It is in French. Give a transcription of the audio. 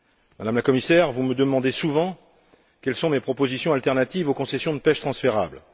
Madame la Commissaire, vous me demandez souvent quelles sont mes propositions alternatives aux concessions de pêche transférables